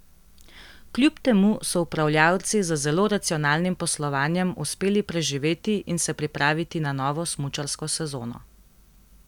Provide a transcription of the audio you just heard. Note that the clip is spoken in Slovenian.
Kljub temu so upravljavci z zelo racionalnim poslovanjem, uspeli preživeti in se pripraviti na novo smučarsko sezono.